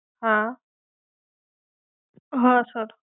હા